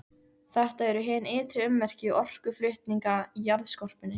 Þetta eru hin ytri ummerki orkuflutninga í jarðskorpunni.